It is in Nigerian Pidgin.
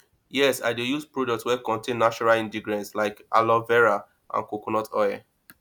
yes i dey use products wey contain natural ingredients like aloe vera and coconut oil